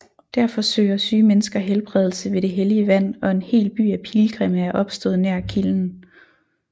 Derfor søger syge mennesker helbredelse ved det hellige vand og en hel by af pilgrimme er opstået nær kilden